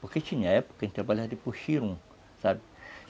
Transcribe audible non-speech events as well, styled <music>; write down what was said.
Porque tinha época, <unintelligible> a gente trabalhava de puxirum, sabe?